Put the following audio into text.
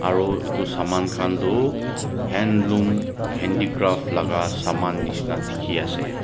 aro etu saman khan du handloom handicraft laga saman nishi na dikhi asey.